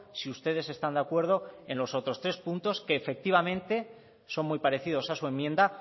si ustedes están de acuerdo en los otros tres puntos que efectivamente son muy parecidos a su enmienda